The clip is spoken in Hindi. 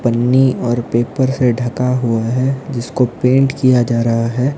पन्नी और पेपर से ढका हुआ है जिसको पेंट किया जा रहा है।